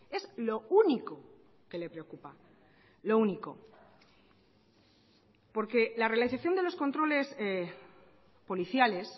es lo único que le preocupa lo único porque la realización de los controles policiales